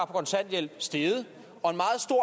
kontanthjælp steget og